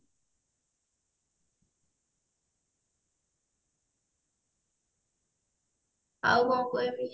ଆଉ କଣ କହିବି